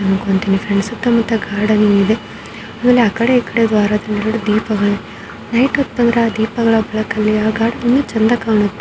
ಅಮೇಲೆ ಆಕಡೆ ಈಕಡೆ ದ್ವಾರದಲ್ಲಿ ಎರಡು ದೀಪಗಳು. ನೈಟ್ ಹೊತ್ ಬಂದ್ರೆ ಆ ದೀಪಗಳ ಬೆಳಕಲ್ಲಿ ಆ ಗಾರ್ಡನ್ ಇನ್ನು ಚಂದ ಕಾಣುತ್ತೆ ಮತ್ತೆ ಇದು ಫುಲ್ ವೈಟ್ ಬಣ್ಣದಿಂದ ಅಂದರೆ ಶಾಂತಿಯಿಂದ ಕೂಡಿದ್ದಾಗಿದೆ.